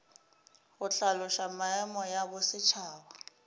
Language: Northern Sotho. go hlaloša maemo ya bosetšhaba